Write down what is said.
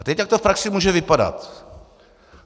A teď jak to v praxi může vypadat?